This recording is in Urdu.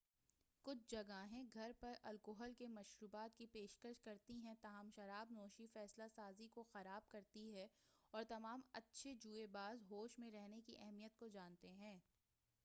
کُچھ جگہیں گھر پر الکحل کے مشروبات کی پیشکش کرتی ہیں تاہم شراب نوشی فیصلہ سازی کو خراب کرتی ہے اور تمام اچھے جوئے باز ہوش میں رہنے کی اہمیت کو جانتے ہیں